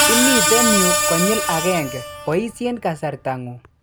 Imiten yuu konyil agenge, boisyen kasartang'ung'.